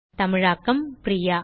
தமிழாக்கம் பிரியா